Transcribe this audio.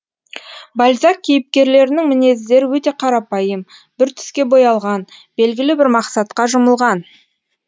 бальзак кейіпкерлерінің мінездері өте қарапайым бір түске боялған белгілі бір мақсатқа жұмылған